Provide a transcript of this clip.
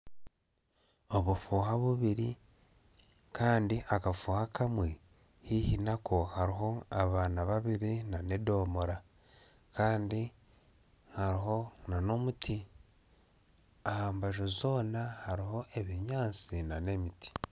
Obufuha bubiri Kandi akafuha akamwe haihi Nako haruho abaana babiri n'edomora kandi haruho n'omuti ahambaju zoona haruho ebinyansi n'emiti.